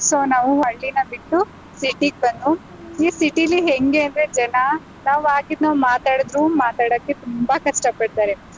So ನಾವು ಹಳ್ಳಿನ ಬಿಟ್ಟು city ಗ್ ಬಂದ್ವು, ಈ city ಲಿ ಹೆಂಗೆ ಅಂದ್ರೆ ಜನ ನಾವಾಗಿದ್ ನಾವ್ ಮಾತಾಡುದ್ರೂ ಮಾತಾಡಕ್ಕೆ ತುಂಬಾ ಕಷ್ಟಪಡ್ತಾರೆ.